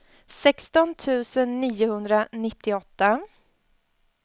sexton tusen niohundranittioåtta